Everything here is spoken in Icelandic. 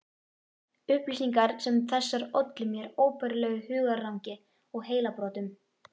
Upplýsingar sem þessar ollu mér óbærilegu hugarangri og heilabrotum.